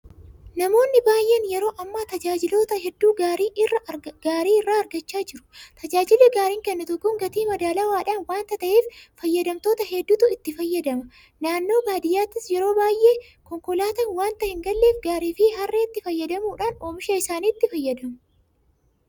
Namoonni baay'een yeroo ammaa tajaajiloota hedduu gaarii irraa argachaa jira. Tajaajilli Gaariin kennitu kun gatii madaalawaadhaan waanta ta'eef fayyadamtoota hedduutu itti fayyadama. Naannoo baadiyyaattis yeroo baay'ee konkolaataan waanta hin galleef Gaariifi Harreetti fayyadamuudhaan oomisha isaaniitti fayyadamu.